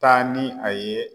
Taa ni a ye